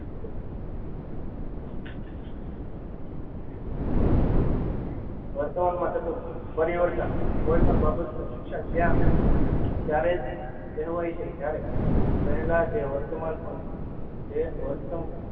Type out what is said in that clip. વર્તમાન માં થતુ પરિવર્તન કોઈપણ બાબત નું શિક્ષણ ત્યાં ત્યારેજ કહેવાય છે જયારે પહેલા તે વર્તમાન પ તે વર્તન